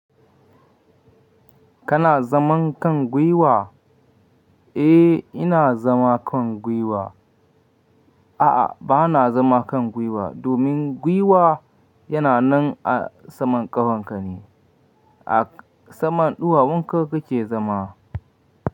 Kana zaman kan gwiwa? Eh, ina zama kan gwiwa. A'a, ba na zama kan gwiwa. Domin gwiwa yana nan a saman ƙafan ka ne. A saman ɗuwawun ka kake zama.